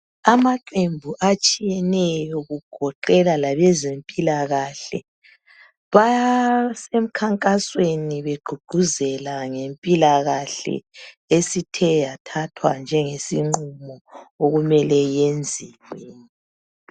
amaqembu atshiyeneyo kugoqela labezempilakahle basemkhankasweni begqugquzela ngempilakahle esithe yathathwa njengesinqumo okumele yenziwe